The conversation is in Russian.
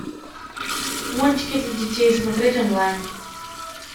мультики для детей смотреть онлайн